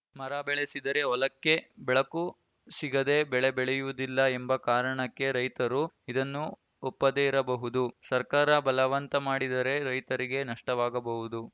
ಮರ ಬೆಳೆಸಿದರೆ ಹೊಲಕ್ಕೆ ಬೆಳಕು ಸಿಗದೆ ಬೆಳೆ ಬೆಳೆಯುವುದಿಲ್ಲ ಎಂಬ ಕಾರಣಕ್ಕೆ ರೈತರು ಇದನ್ನು ಒಪ್ಪದೆ ಇರಬಹುದು ಸರ್ಕಾರ ಬಲವಂತ ಮಾಡಿದರೆ ರೈತರಿಗೆ ನಷ್ಟವಾಗಬಹುದು